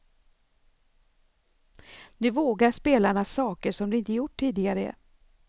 Nu vågar spelarna saker som de inte gjort tidigare.